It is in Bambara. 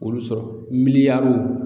Olu sɔrɔ, miliyariw